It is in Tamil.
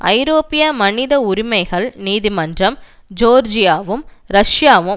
ஐரோப்பிய மனித உரிமைகள் நீதி மன்றம் ஜோர்ஜியாவும் ரஷ்யாவும்